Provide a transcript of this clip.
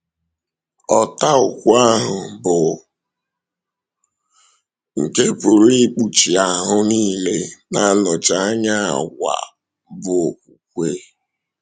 Ọ̀tá ukwu ahụ, bụ́ nke pụrụ ikpuchi ahụ niile, na-anọchi anya àgwà bụ́ okwúkwè.